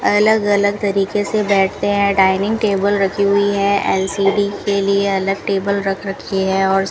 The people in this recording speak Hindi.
अलग अलग तरीके से बैठे है डाइनिंग टेबल रखी हुई है एल_सी_डी के लिए अलग टेबल रख रखी है और --